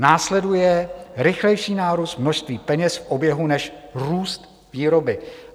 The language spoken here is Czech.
Následuje rychlejší nárůst množství peněz v oběhu než růst výroby.